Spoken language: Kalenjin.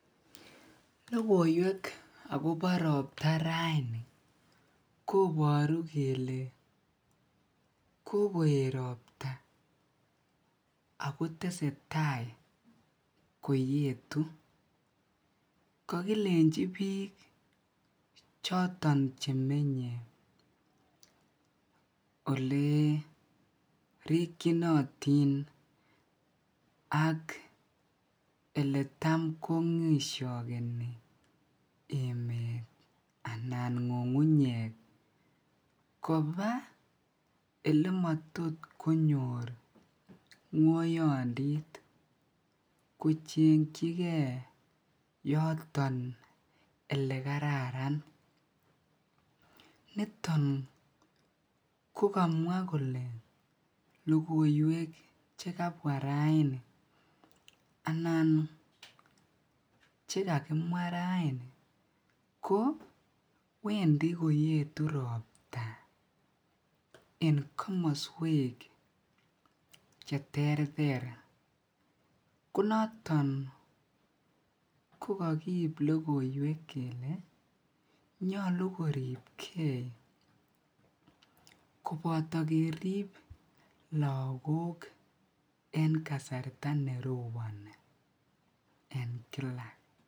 Lokoiwek akobo robta rain koboru kelee kokoet robta ak ko teaeta koyetu, kokilenchi biik choton chemenye olee rikyinotin ak eletan kongishokeni emet anan ng'ung'unyek kobaa elemotot konyor ng'oyondit kochengyike yoton elekararan, niton ko kamwa kole lokoiwek chekabwa raini anan chekakimwa raini ko wendi koyetu robta en komoswek cheterter, konoton ko kokiib lokoiwek kelee nyolu koribkee koboto kerib lokok en kasarta neroboni en kila.